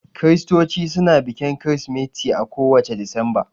Kiristoci suna bikin kirismeti a ko wacce Disamba